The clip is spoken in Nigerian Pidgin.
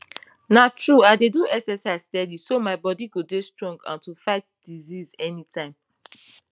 na true i dey do exercise steady so my bodi go dey strong and to fit fight disease anytime